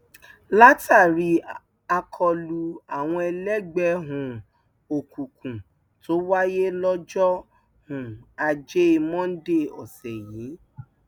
látàrí àkọlù àwọn ẹlẹgbẹ um òkùnkùn tó wáyé lọjọ um ajé monde ọsẹ yìí